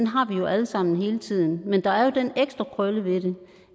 har vi jo alle sammen hele tiden men der er jo den ekstra krølle ved det